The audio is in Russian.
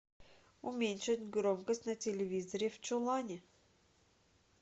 уменьшить громкость на телевизоре в чулане